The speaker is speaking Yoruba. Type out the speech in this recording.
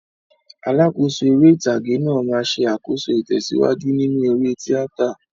Alákòóso eré ìtàgé náà máa ń ṣe àkóso ìtẹ̀síwájú nínú eré tíátà.